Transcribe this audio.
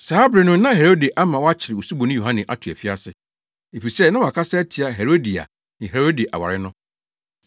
Saa bere no na Herode ama wɔakyere Osuboni Yohane ato afiase, efisɛ na wakasa atia Herodia ne Herode aware no